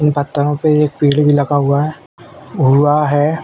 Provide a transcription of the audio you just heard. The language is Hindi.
इन पत्थरों पे एक पेड़ भी लगा हुआ है हुआ है।